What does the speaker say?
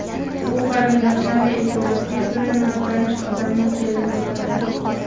U qarindoshlari iltimosiga ko‘ra notanish odamning kelini bo‘ladi.